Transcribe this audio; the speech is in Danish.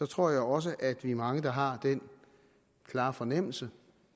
tror jeg også at vi er mange der har den klare fornemmelse